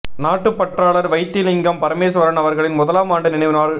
நாட்டுப் பற்றாளர் வைத்திலிங்கம் பரமேஸ்வரன் அவர்களின் முதலாம் ஆண்டு நினைவு நாள்